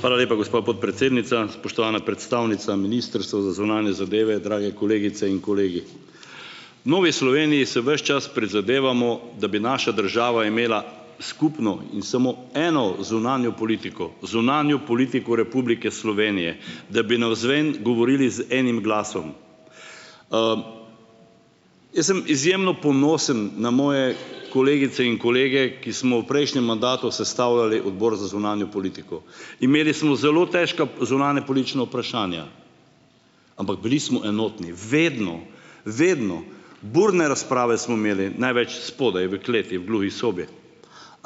Hvala lepa, gospa podpredsednica. Spoštovana predstavnica ministrstva za zunanje zadeve, drage kolegice in kolegi. V Novi Sloveniji se ves čas prizadevamo, da bi naša država imela skupno in samo eno zunanjo politiko - zunanjo politiko Republike Slovenije - da bi navzven govorili z enim glasom. Jaz sem izjemno ponosen na moje kolegice in kolege, ki smo v prejšnjem mandatu sestavljali odbor za zunanjo politiko. Imeli smo zelo težka zunanjepolitična vprašanja, ampak bili smo enotni. Vedno. Vedno. Burne razprave smo imeli, največ spodaj v kleti, v gluhi sobi,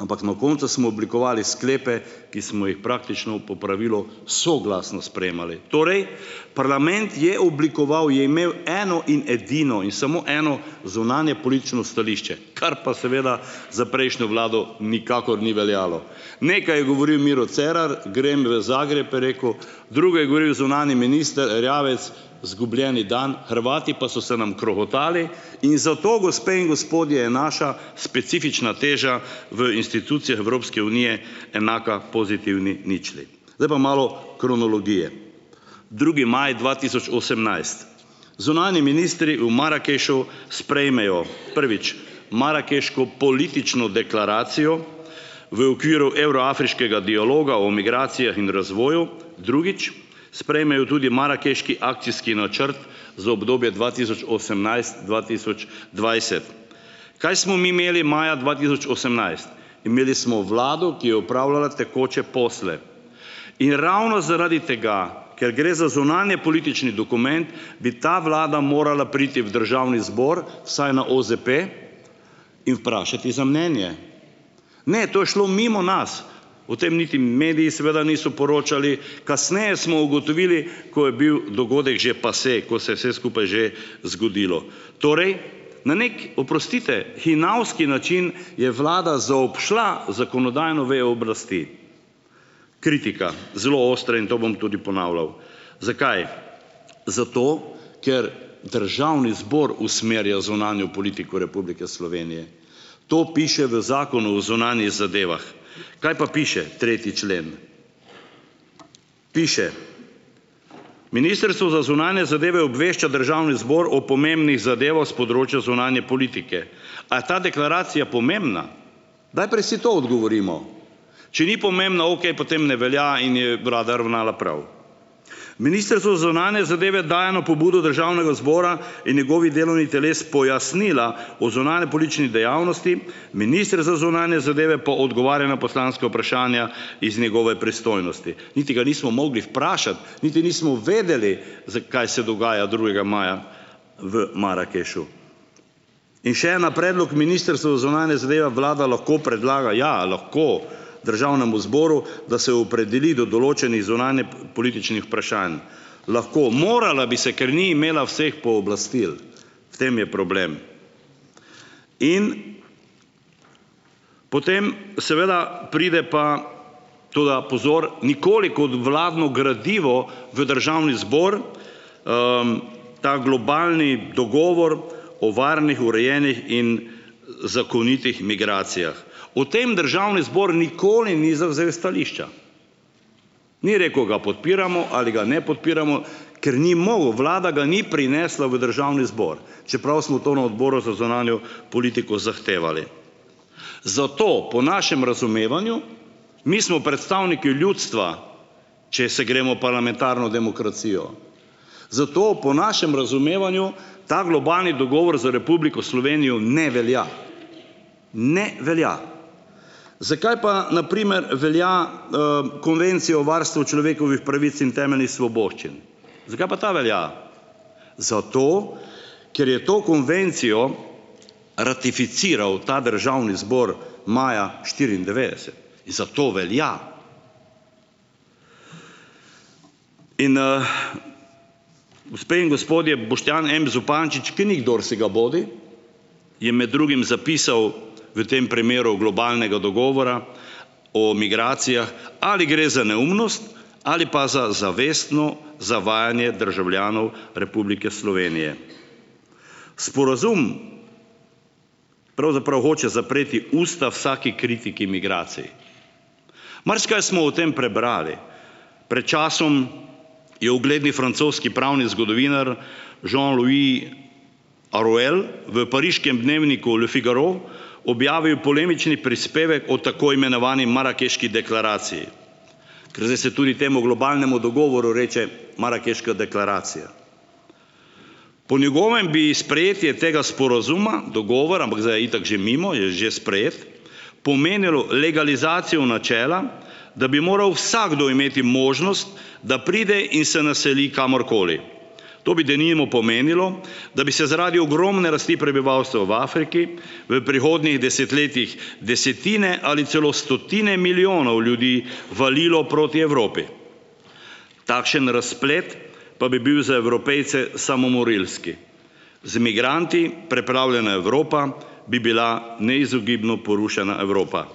ampak na koncu smo oblikovali sklepe, ki smo jih praktično po pravilu soglasno sprejemali. Torej, parlament je oblikoval, je imel eno in edino in samo eno zunanjepolitično stališče, kar pa seveda za prejšnjo vlado nikakor ni veljalo. Nekaj je govoril Miro Cerar: "Grem v Zagreb," je rekel, drugo je govoril zunanji minister Erjavec: "Izgubljeni dan." Hrvati pa so se nam krohotali in zato gospe in gospodje je naša specifična teža v institucijah Evropske unije enaka pozitivni ničli. Zdaj pa malo kronologije: drugi maj dva tisoč osemnajst. Zunanji ministri v Marakešu sprejmejo, prvič, marakeško politično deklaracijo v okviru evro-afriškega dialoga o migracijah in razvoju. Drugič, sprejmejo tudi marakeški akcijski načrt za obdobje dva tisoč osemnajst-dva tisoč dvajset. Kaj smo mi imeli maja dva tisoč osemnajst? Imeli smo vlado, ki je opravljala tekoče posle in ravno zaradi tega, ker gre za zunanjepolitični dokument, bi ta vlada morala priti v državni zbor vsaj na OZP in vprašati za mnenje. Ne, to je šlo mimo nas. O tem niti mediji seveda niso poročali, kasneje smo ugotovili, ko je bil dogodek že passé, ko se je vse skupaj že zgodilo. Torej, na neki, oprostite, hinavski način, je vlada zaobšla zakonodajno vejo oblasti. Kritika, zelo ostra in to bom tudi ponavljal. Zakaj? Zato, ker državni zbor usmerja zunanjo politiko Republike Slovenije. To piše v zakonu o zunanjih zadevah. Kaj pa piše tretji člen? Piše: "Ministrstvo za zunanje zadeve obvešča državni zbor o pomembnih zadevah s področja zunanje politike." A je ta deklaracija pomembna? Najprej si to odgovorimo. Če ni pomembna, okej, potem ne velja in je vlada ravnala prav. "Ministrstvo za zunanje zadeve daje na pobudo državnega zbora in njegovih delovnih teles pojasnila o zunanjepolitični dejavnosti, minister za zunanje zadeve pa odgovarja na poslanska vprašanja iz njegove pristojnosti." Niti ga nismo mogli vprašati, niti nismo vedeli, kaj se dogaja drugega maja v Marakešu. In še ena: "Predlog ministrstva za zunanje zadeve vlada lahko predlaga ja, lahko, državnemu zboru, da se opredeli do določenih zunanjepolitičnih vprašanj." Lahko. Morala bi se, ker ni imela vseh pooblastil. V tem je problem. In potem seveda pride pa to, da, pozor, nikoli kot vladno gradivo v državni zbor, ta globalni dogovor o varnih, urejenih in zakonitih migracijah. O tem državni zbor nikoli ni zavzel stališča. Ni rekel: "Ga podpiramo ali ga ne podpiramo," ker ni mogel, vlada ga ni prinesla v državni zbor, čeprav smo to na odboru za zunanjo politiko zahtevali. Zato, po našem razumevanju, mi smo predstavniki ljudstva, če se gremo parlamentarno demokracijo, zato po našem razumevanju ta globalni dogovor za Republiko Slovenijo ne velja - ne velja. Zakaj pa, na primer, velja, Konvencija o varstvu človekovih pravic in temeljnih svoboščin? Zakaj pa ta velja? Zato, ker je to konvencijo ratificiral ta državni zbor maja štiriindevetdeset, zato velja. In, ... Gospe in gospodje, Boštjan M. Zupančič, ki ni kdorsigabodi, je med drugim zapisal v tem primeru globalnega dogovora o migracijah: "Ali gre za neumnost ali pa za zavestno zavajanje državljanov Republike Slovenije. Sporazum pravzaprav hoče zapreti usta vsaki kritiki migracij." Marsikaj smo o tem prebrali. Pred časom je ugledni francoski pravni zgodovinar Jean-Louis Harouel v pariškem dnevniku Le Figaro objavil polemični prispevek o tako imenovani marakeški deklaraciji, ker zdaj se tudi temu globalnemu dogovoru reče marakeška deklaracija. Po njegovem bi "sprejetje tega sporazuma, dogovora", ampak zdaj je itak že mimo, je že sprejet, "pomenilo legalizacijo načela, da bi moral vsakdo imeti možnost, da pride in se naseli kamorkoli. To bi, denimo, pomenilo, da bi se zaradi ogromne rasti prebivalstva v Afriki v prihodnjih desetletjih desetine ali celo stotine milijonov ljudi valilo proti Evropi. Takšen razplet pa bi bil za Evropejce samomorilski. Z migranti preplavljena Evropa bi bila neizogibno porušena Evropa.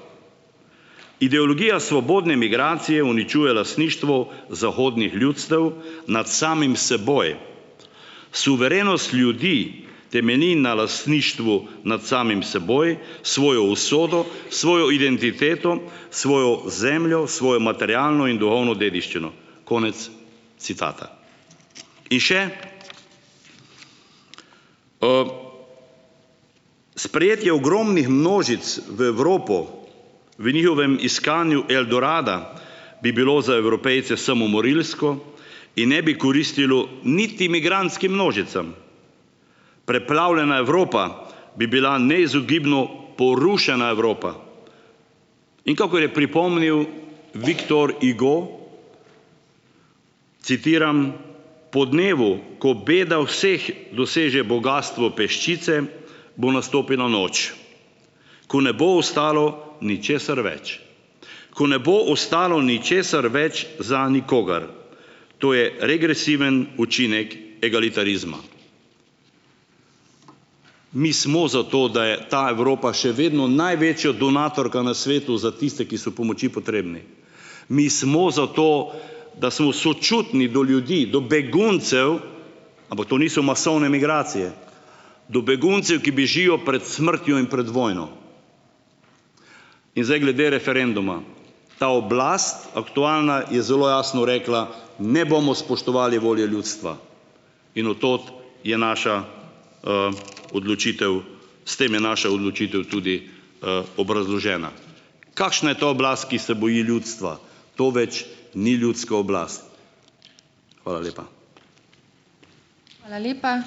Ideologija svobodne migracije uničuje lastništvo zahodnih ljudstev nad samim seboj. Suverenost ljudi temelji na lastništvu nad samim seboj, svojo usodo, svojo identiteto, svojo zemljo, svojo materialno in duhovno dediščino." Konec citata. In še, "Sprejetje ogromnih množic v Evropo v njihovem iskanju Eldorada bi bilo za Evropejce samomorilsko in ne bi koristilo niti migrantskim množicam. Preplavljena Evropa bi bila neizogibno porušena Evropa." In kakor je pripomnil Victor Hugo, citiram: "Po dnevu, ko beda vseh doseže bogastvo peščice, bo nastopila noč, ko ne bo ostalo ničesar več. Ko ne bo ostalo ničesar več za nikogar. To je regresiven učinek egalitarizma". Mi smo za to, da je ta Evropa še vedno največja donatorka na svetu za tiste, ki so pomoči potrebni. Mi smo za to, da smo sočutni do ljudi, do beguncev - ampak to niso masovne migracije -, do beguncev, ki bežijo pred smrtjo in pred vojno. In zdaj glede referenduma. Ta oblast, aktualna, je zelo jasno rekla: "Ne bomo spoštovali volje ljudstva." In v to je naša, odločitev, s tem je naša odločitev tudi, obrazložena. Kakšna je to oblast, ki se boji ljudstva? To več ni ljudska oblast. Hvala lepa.